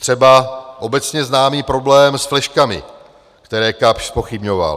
Třeba obecně známý problém s fleškami, které Kapsch zpochybňoval.